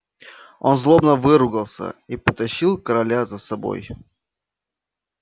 он злобно выругался и потащил короля за собой